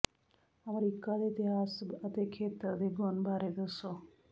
America ਦੇ ਇਤਿਹਾਸ ਅਤੇ ਖੇਤਰ ਦੇ ਗੁਣ ਬਾਰੇ ਦੱਸੋ